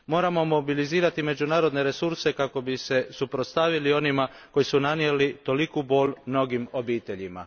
Moramo mobilizirati međunarodne resurse kako bi se suprotstavili onima koji su nanijeli toliku bol mnogim obiteljima.